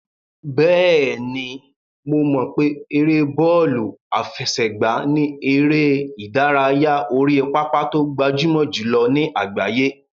Bẹ́ẹ̀ni, mo mọ̀ pé ère bọ́ọ̀lù àfẹsẹ̀gbá ni eré ìdárayá orí pápá tó gbajúmọ̀ jùlọ ní àgbáyé.